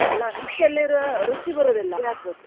ಅಲ್ಲ ಮಿಕ್ಸಿಯಲ್ಲಿ ರು~ ರುಚಿ ಬರುದಿಲ್ಲ .